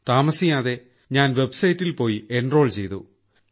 താമസിയാതെ ഞാൻ വെബ് സൈറ്റിൽ പോയി എൻറോൾ ചെയ്തു